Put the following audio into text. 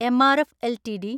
MRF LTD